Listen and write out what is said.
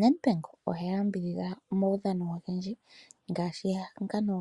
Nedbank ohayambidhidha omaudhano ogendji ngaashi ehangano